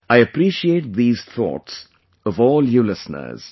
I appreciate these thoughts of all you listeners